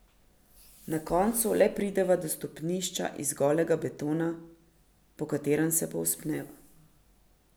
Na koncu le prideva do stopnišča iz golega betona, po katerem se povzpneva.